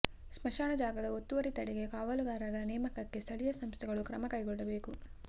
ಸ್ಮಶಾನ ಜಾಗದ ಒತ್ತುವರಿ ತಡೆಗೆ ಕಾವಲುಗಾರರ ನೇಮಕಕ್ಕೆ ಸ್ಥಳೀಯ ಸಂಸ್ಥೆಗಳು ಕ್ರಮ ಕೈಗೊಳ್ಳಬೇಕು